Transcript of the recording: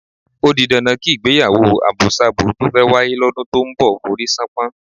Ó di dandan kí ìgbéyàwó àbosábo tó fẹ́ wáyé lọ́dún tó ń bọ̀ forí ṣánpọ́n.